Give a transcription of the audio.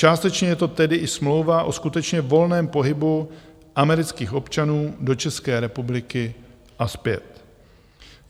Částečně je to tedy i smlouva o skutečně volném pohybu amerických občanů do České republiky a zpět.